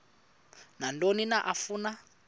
nantoni na afuna